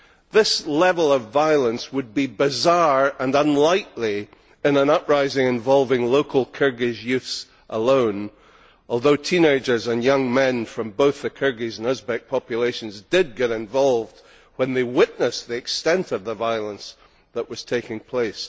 This level of violence would be bizarre and unlikely in an uprising involving local Kyrgyz youths alone, although teenagers and young men from both the Kyrgyz and Uzbek populations did get involved when they witnessed the extent of the violence that was taking place.